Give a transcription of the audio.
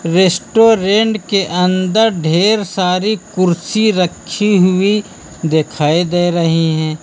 Restaurant के अंदर ढेर सारी कुर्सी रखी हुई दिखाई दे रही हैं।